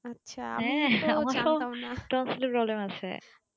হ্যাঁ আমার তো tonsil এর problem আছে